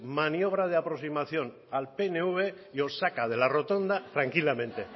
maniobra de aproximación al pnv y os saca de la rotonda tranquilamente